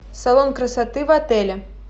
салон красоты в отеле